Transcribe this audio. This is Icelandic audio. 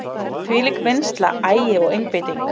Þvílík vinnsla, agi og einbeiting.